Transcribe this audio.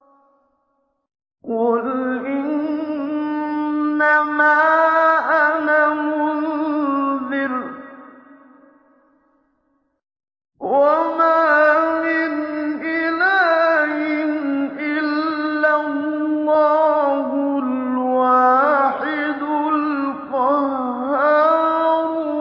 قُلْ إِنَّمَا أَنَا مُنذِرٌ ۖ وَمَا مِنْ إِلَٰهٍ إِلَّا اللَّهُ الْوَاحِدُ الْقَهَّارُ